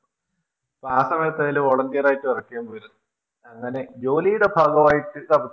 ആ സമയത്തിൻറെ Volunteer ആയിട്ട് Work ചെയ്യാൻ പോയിരുന്നു അങ്ങനെ ജോലിയുടെ ഭാഗവായിട്ട്